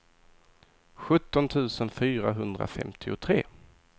sjutton tusen fyrahundrafemtiotre